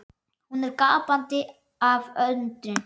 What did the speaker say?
Hún er gapandi af undrun.